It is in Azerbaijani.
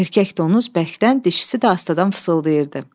Erkək donuz bəkdən, dişisi də astadan fısıldayırdı.